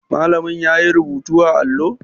Malamin yayi rubutu a allo?